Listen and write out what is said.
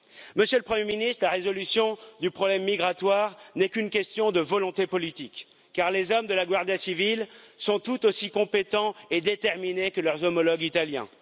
Monsieur le Premier ministre, la résolution du problème migratoire n'est qu'une question de volonté politique, car les hommes de la Guardia Civil sont tout aussi compétents et déterminés que leurs homologues italiens.